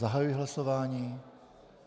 Zahajuji hlasování.